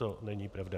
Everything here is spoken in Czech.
To není pravda.